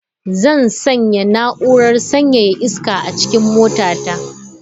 Zan sanya na'urar sanyaya iska a cikin motata.